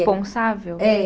É